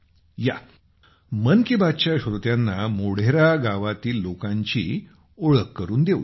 या मन की बातच्या श्रोत्यांना मोढेरा गावातील लोकांची ओळख करून देऊया